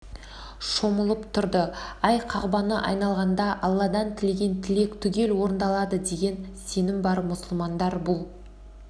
шомылып тұрды ай қағбаны айналғанда алладан тілеген тілек түгел орындалады деген сенім бар мұсылмандар бұл